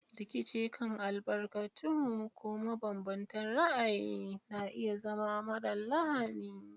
Rikici kan albarkatu ko mabanbantan ra'ayi na iya zama marar lahani.